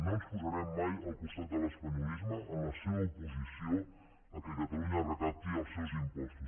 no ens posarem mai al costat de l’espanyolisme en la seva oposició que catalunya recapti els seus impostos